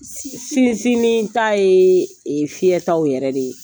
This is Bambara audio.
Sinsininin ta ye ee fiyɛ taw yɛrɛ de ye